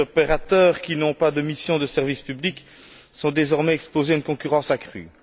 Les opérateurs qui n'ont pas de mission de service public sont désormais exposés à une concurrence accrue.